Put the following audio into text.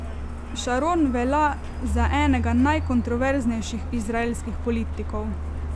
Šaron velja za enega najkontroverznejših izraelskih politikov.